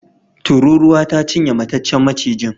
Tururuwa ta cinye mataccen macijin.